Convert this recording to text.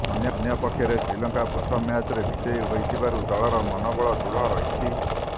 ଅନ୍ୟପକ୍ଷରେ ଶ୍ରୀଲଙ୍କା ପ୍ରଥମ ମ୍ୟାଚରେ ବିଜୟୀ ହୋଇଥିବାରୁ ଦଳର ମନୋବଳ ଦୃଢ଼ ରହିଛି